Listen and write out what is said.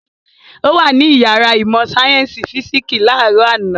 Ó wà ní ìyàrá ìmọ̀-sáyẹ́ńsì físíkísì láàárọ̀ àná.